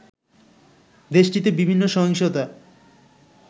দেশটিতে বিভিন্ন সহিংসতা